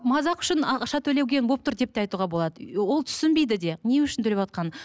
мазақ үшін ақша төлеген болып тұр деп те айтуға болады ол түсінбейді де не үшін төлеватқанын